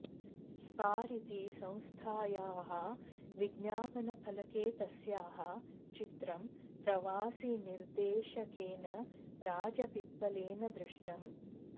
स्पार् इति संस्थायाः विज्ञापनफलके तस्याः चित्रं प्रवासिनिर्देशकेन राजपिप्पलेन दृष्टम्